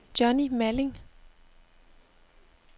Johnni Malling